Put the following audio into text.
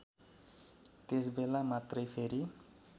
त्यसबेला मात्रै फेरी